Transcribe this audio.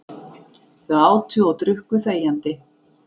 Þau átu og drukku þegjandi.